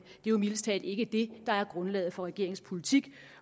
jo mildest talt ikke det der er grundlaget for regeringens politik